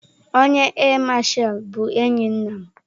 Onye áà Masha bụ enyi nna m.